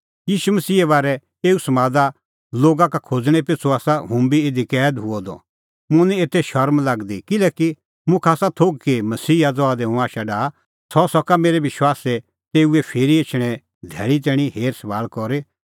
ईशू मसीहे बारै अह समाद लोगा का खोज़णैं पिछ़ू आसा हुंबी इधी कैद किअ द मुंह निं एते शरम लागदी किल्हैकि मुखा आसा थोघ कि मसीहा ज़हा दी हुंह आशा डाहा सह सका मेरै विश्वासे तेऊए फिरी एछणें धैल़ी तैणीं हेरसभाल़ करी